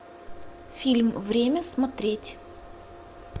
фильм время смотреть